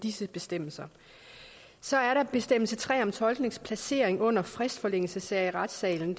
disse bestemmelser så er der bestemmelse tre om tolkens placering under fristforlængelsessager i retssalen